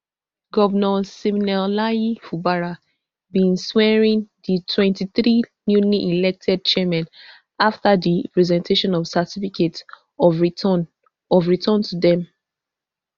govnor siminalayi fubara bin swearin di twenty-three newly elected chairmen afta di presentation of certificates of return of return to dem